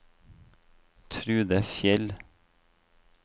Trude Fjeld